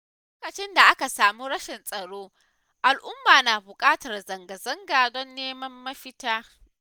Lokacin da aka samu rashin tsaro al'umma na buƙatar zanga-zanga don neman mafita